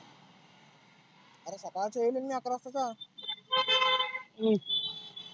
आरे सकाळच येएल आहे ना मी अकरा वाजताचा. हम्म